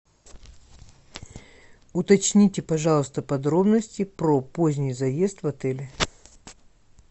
уточните пожалуйста подробности про поздний заезд в отеле